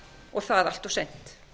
og það allt of seint